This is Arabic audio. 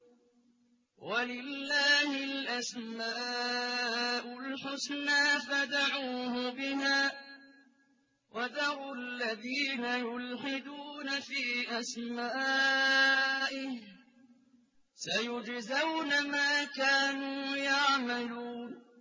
وَلِلَّهِ الْأَسْمَاءُ الْحُسْنَىٰ فَادْعُوهُ بِهَا ۖ وَذَرُوا الَّذِينَ يُلْحِدُونَ فِي أَسْمَائِهِ ۚ سَيُجْزَوْنَ مَا كَانُوا يَعْمَلُونَ